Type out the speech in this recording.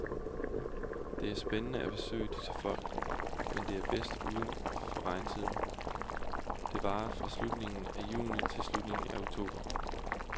Det er spændende at besøge disse folk, men det er bedst uden for regntiden, der varer fra slutningen af juni til slutningen af oktober.